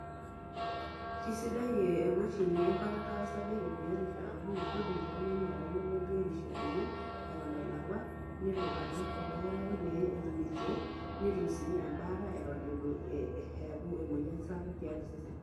Kesidai ee emashini enkuatata osarge te biotishu amu kiidim oltung'ani atayiolo biotisho enye eton elakua nelo adol oldakitari pee etum irkeek, netum sii embaata eton itu ee eeku emoyian sapuk tiatua osesen.